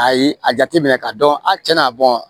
Ayi a jateminɛ ka dɔn a tiɲɛna